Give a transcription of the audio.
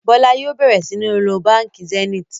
Bola yóò bẹrẹ sìn ló bánkì Zenith